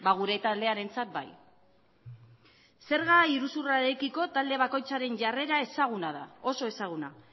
gure taldearentzat bai zerga iruzurrarekiko talde bakoitzaren jarrera ezaguna da oso ezaguna